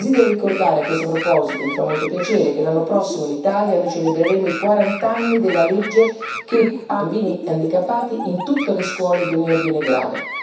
Desidero ricordare a questo proposito e mi fa molto piacere che l'anno prossimo in Italia celebreremo i 40 anni della legge che ha inserito i bambini handicappati in tutte le scuole di ogni ordine e grado.